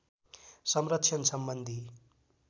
संरक्षण सम्बन्धी